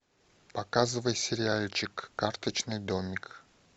показывай сериальчик карточный домик